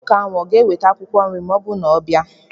Nwoke ahụ ọ ga-eweta akwụkwọ nri ma ọ na-abịa?